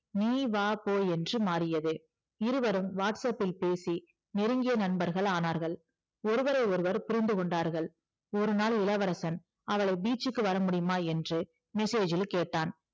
நீ வா போ என்று மாறியது இருவரும் whatsapp பில் பேசி நெருங்கிய நண்பர்கள் ஆனார்கள் ஒருவரை ஒருவர் புரிந்து கொண்டார்கள் ஒருநாள் இளவரசன் அவளை beach க்கு வரமுடியுமா என்று message இல் கேட்டான்